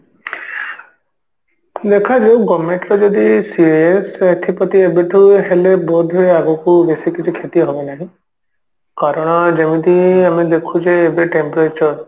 ଦେଖାଯାଉ government ର ଯଦି ସିଏ ସେଥିପ୍ରତି ଏବେଠୁ ହେଲେ ବୋଧ ହୁଏ ଆଗକୁ ବେଶୀ କିଛି କ୍ଷତି ହବ ନାହିଁ କାରଣ ଯେମିତି ଆମେ ଦେଖୁଛେ ଏବେ temperature